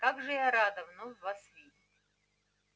как же я рада вновь вас видеть